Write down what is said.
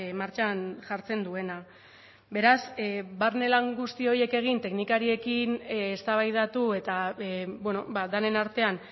martxan jartzen duena beraz barne lan guzti horiek egin teknikariekin eztabaidatu eta denen artean